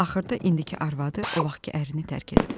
Axırda indiki arvadı o vaxtkı ərini tərk edib.